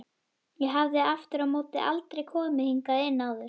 Ég hafði aftur á móti aldrei komið hingað inn áður.